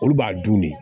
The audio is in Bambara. Olu b'a dun de